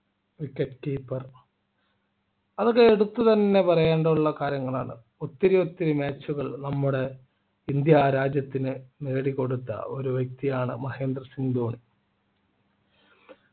wicket keeper അതൊക്കെ എടുത്തു തന്നെ പറയേണ്ടുള്ള കാര്യങ്ങളാണ് ഒത്തിരി ഒത്തിരി match കൾ നമ്മുടെ ഇന്ത്യ രാജ്യത്തിന് നേടിക്കൊടുത്ത ഒരു വ്യക്തിയാണ് മഹേന്ദ്ര സിംഗ് ധോണി